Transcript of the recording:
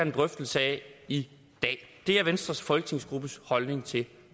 en drøftelse af i dag det er venstres folketingsgruppes holdning til